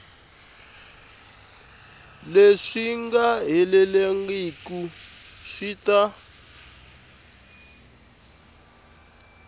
leswi nga helelangiku swi ta